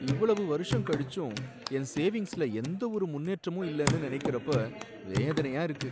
இவ்வளவு வருஷம் கழிச்சும் என் சேவிங்ஸ்ல எந்த ஒரு முன்னேற்றமும் இல்லனு நினைக்கிறப்ப வேதனையா இருக்கு.